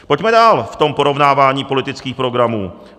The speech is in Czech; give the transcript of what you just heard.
Pojďme dál v tom porovnávání politických programů.